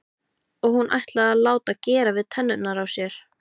Og hún ætlaði að láta gera við tennurnar í sér.